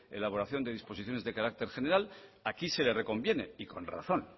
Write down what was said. elaboración de disposiciones de carácter general aquí se le reconviene y con razón